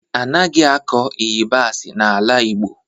A naghị akọ ịyabasị n'ala Igbo.